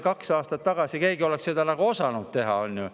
Kas kaks aastat tagasi oleks keegi seda osanud teha?